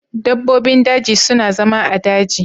Dabbobin daji su na zama a'daji.